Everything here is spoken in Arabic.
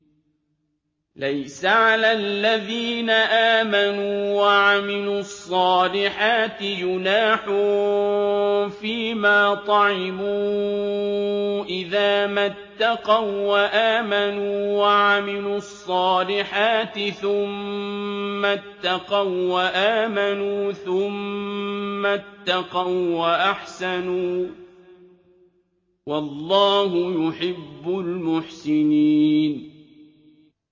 لَيْسَ عَلَى الَّذِينَ آمَنُوا وَعَمِلُوا الصَّالِحَاتِ جُنَاحٌ فِيمَا طَعِمُوا إِذَا مَا اتَّقَوا وَّآمَنُوا وَعَمِلُوا الصَّالِحَاتِ ثُمَّ اتَّقَوا وَّآمَنُوا ثُمَّ اتَّقَوا وَّأَحْسَنُوا ۗ وَاللَّهُ يُحِبُّ الْمُحْسِنِينَ